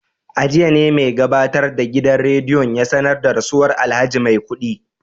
A jiya ne mai gabatar da gidan rediyon ya sanar da rasuwar alhaji maikudi